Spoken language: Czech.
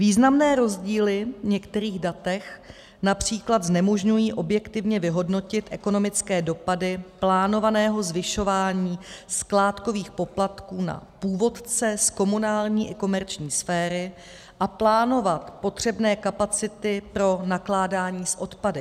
Významné rozdíly v některých datech například znemožňují objektivně vyhodnotit ekonomické dopady plánovaného zvyšování skládkových poplatků na původce z komunální i komerční sféry a plánovat potřebné kapacity pro nakládání s odpady.